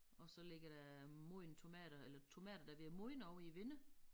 Og så ligger der modne tomater eller tomater der ved at modne ovre i æ vinne